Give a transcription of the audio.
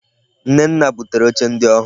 Nnenna butere oche ndi ohuu.